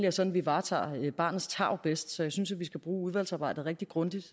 er sådan vi varetager barnets tarv bedst så jeg synes vi skal bruge udvalgsarbejdet rigtig grundigt